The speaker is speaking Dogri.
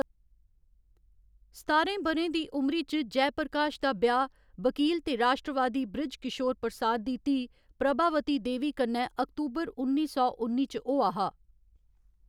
सतारें ब'रें दी उमरी च, जयप्रकाश दा ब्याह्‌‌ वकील ते राश्ट्रवादी बृज किशोर प्रसाद दी धीऽ, प्रभावती देवी कन्नै अक्तूबर उन्नी सौ उन्नी च होआ हा।